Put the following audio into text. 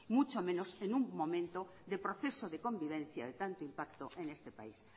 mucho menos en un momento de proceso de convivencia de tanto impacto en este país